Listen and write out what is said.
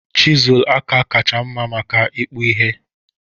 Chịzụlụ aka kacha mma maka ìkpụ̀ ihe?he?